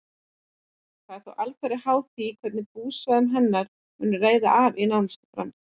Það er þó alfarið háð því hvernig búsvæðum hennar mun reiða af í nánustu framtíð.